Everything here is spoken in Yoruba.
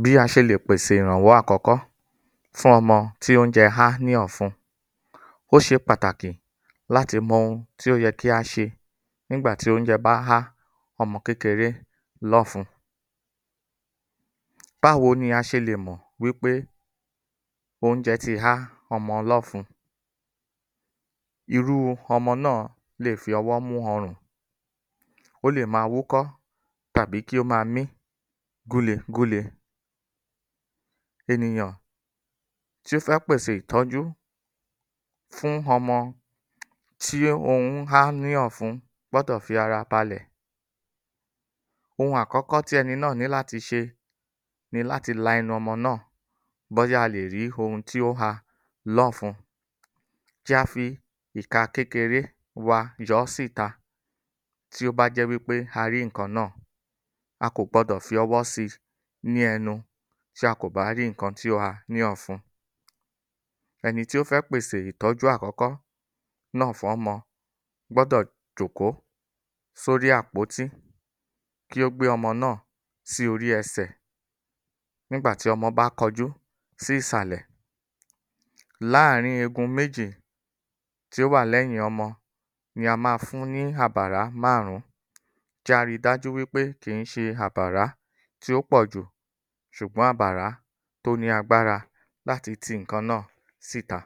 Bí a ṣe lè pèsè ìrànwọ́ àkókó fún ọmọ tí oúnjẹ́ há ní ọ̀fun Bí a ṣe lè pèsè ìrànwọ́ àkókó fún ọmọ tí oúnjẹ́ há ní ọ̀fun. Ó ṣe pàtàkì láti mọ̀ ohun tí ó yẹ̀ kí a ṣe nígbà tí oúnjẹ bá há ọmọ kékéré lọ́fun. Báwo ni a ṣelè mọ wí pé oúnjẹ́ tí há ọmọ lọ́fun? Irú ọmọ náà lè fi ọwọ mú ọrùn, ó lè máa wúkọ́ tàbí kí ó máa mí gúlegúle. Ènìyàn tó fẹ́ pèsè ìtójú fún ọmọ tí ohun hán ní ọ̀fun gbọ́dọ̀ fi ara balẹ̀. Ohun àkọ́kọ́ tí ẹni náà ní láti ṣe, ni láti lá ẹnu ọmọ náà bóyá a lè rí ohun tí ó ha lọ́fun, ti fí ìka kékeré wa yọ ọ́ síta tí ó bá jẹ́ wí pé a rí nnkàn náà. A kọ́kọ́ gbọ́dọ̀ fi ọwọ si ní ẹnu. Tí a ko bá rí nǹkan tí ó ha ní ọfun. Ẹni tí ó fé pèsè ìtójú àkọ́kọ́ náà fún ọmọ gbọ́dọ̀ jókòó sí orí àpótí, kí ó gbé ọmọ náà sí órí ẹsẹ̀, nígbà tí ọmọ bá kójú si ìsàlẹ̀, láàárín eegun méjì tí ó wà lẹ́yìn ọmo ni a máa fún ni àbàrá márùn-ún. Jẹ́ á rí dájú wí pé agba kìí ṣe àbàrá tí ó pọ̀jù ṣùgbọ́n àbàrá tó ní àgbára láti ti nǹkan náà síta.